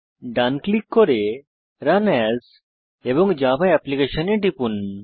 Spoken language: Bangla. ডান ক্লিক করে রান এএস এবং জাভা অ্যাপ্লিকেশন এ টিপুন